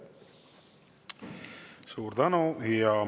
Suur tänu!